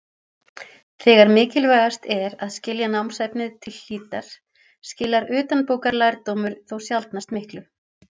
Þegar mikilvægast er að skilja námsefnið til hlítar skilar utanbókarlærdómur þó sjaldnast miklu.